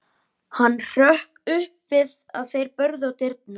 Hann hrökk upp við að þeir börðu á dyrnar.